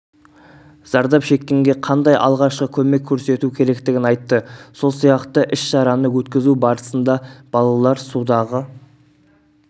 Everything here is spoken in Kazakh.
зардап шеккенге қандай алғашқы көмек көрсету керектігін айтты сол сияқты ісшараны өткізу барысында балалар судағы